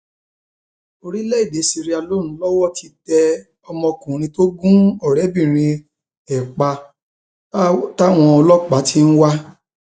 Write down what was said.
orílẹèdè seireleone lowó ti tẹ ọmọkùnrin tó gun ọrẹbìnrin ẹ pa táwọn ọlọpàá ti ń wá